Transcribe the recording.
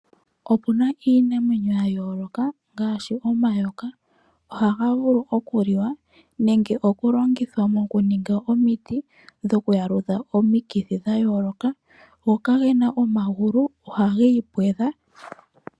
Opuna iinamwenyo yayoloka ngaashi omayoka ohaga vulu okuliwa nenge okulongithwa moku ninga omiti dho kwaludha omikithi dhayoloka. omayoka kagena omagulu ohagi pwedha.